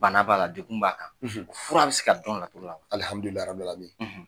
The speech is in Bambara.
Bana b'a la degun b'a kan fura bɛ se ka dɔn la joona